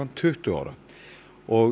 tuttugu ára og